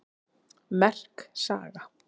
Merk saga